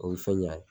O ye fɛn ɲɛnama ye